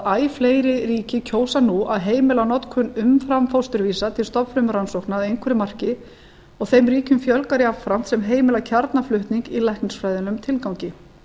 að æ fleiri ríki kjósa nú að heimila notkun umframfósturvísa til stofnfrumurannsókna að einhverju marki og þeim ríkjum fjölgar jafnframt sem heimila kjarnaflutning í læknisfræðilegum tilgangi